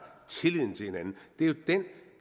tillid til hinanden